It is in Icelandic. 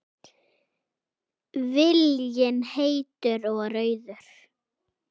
Viljinn heitur og rauður.